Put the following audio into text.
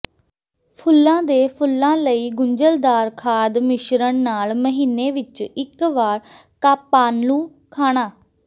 ਫੁੱਲਾਂ ਦੇ ਫੁੱਲਾਂ ਲਈ ਗੁੰਝਲਦਾਰ ਖਾਦ ਮਿਸ਼ਰਣ ਨਾਲ ਮਹੀਨੇ ਵਿਚ ਇਕ ਵਾਰ ਕਾਪਾਂਲੂ ਖਾਣਾ